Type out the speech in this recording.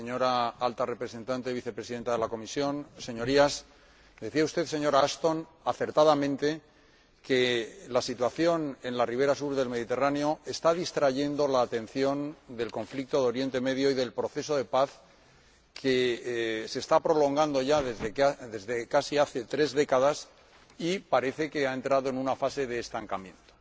Señor Presidente, señora Alta Representante y Vicepresidenta de la Comisión, Señorías, decía usted, señora Ashton, acertadamente, que la situación en la ribera sur del Mediterráneo está distrayendo la atención del conflicto de Oriente Medio y del proceso de paz, que se está prolongando ya, desde hace casi tres décadas, y parece que ha entrado en una fase de estancamiento.